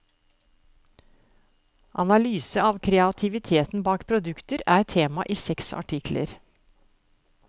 Analyse av kreativiteten bak produkter er tema i seks artikler.